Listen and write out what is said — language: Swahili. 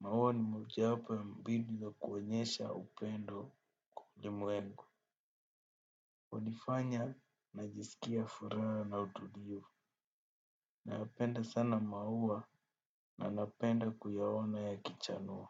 Maua ni mojawapo ya mbinu za kuonyesha upendo kwa ulimwengu. Hunifanya, najisikia furaha na utulivu. Nayapenda sana maua, na napenda kuyaona yakichanua.